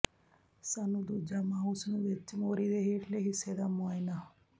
ਸਾਨੂੰ ਦੂਜਾ ਮਾਊਸ ਨੂੰ ਵਿਚ ਮੋਰੀ ਦੇ ਹੇਠਲੇ ਹਿੱਸੇ ਦਾ ਮੁਆਇਨਾ